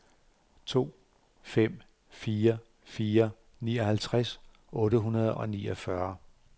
to fem fire fire nioghalvtreds otte hundrede og niogfyrre